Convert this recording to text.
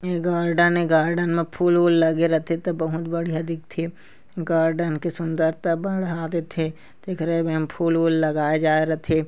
ये गार्डेन ए गार्डेन में फूल-वूल लगे रथे ता बहुत बढ़िया दिखथे गार्डेन के सुंदरता बढ़ा देथे तेखरे बर एमा फूल-वूल लगाए जाए रथे।